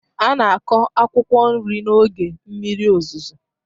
A na-akụ akwụkwọ nri n'oge mmiri ozuzo.